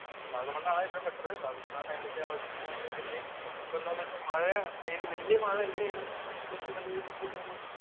വാഗമൺ ആണ് എപ്പോഴും ബെറ്റര്‍ വാഗമണില്‍ ആ ടൈമിലേക്ക് പോകാന്‍ ഇപ്പം എന്താന്ന് വച്ചാ മഴ ഈ വല്യ മഴ ഇല്ലേലും അത്യാവശ്യം നല്ല രീതിക്കുള്ളൊരു